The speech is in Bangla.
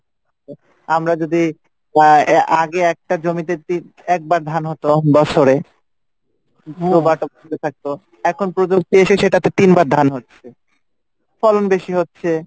আমরা যদি আগে একটা জমিতে একবার ধান হতো বছরে এখন প্রজুক্তি এসে সেটাতে তিনবার ধান হচ্ছে ফলন বেশি হচ্ছে